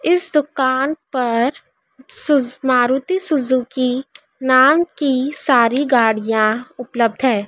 इस दुकान पर सु मारुति सुजुकी नाम की सारी गाड़ियां उपलब्ध है।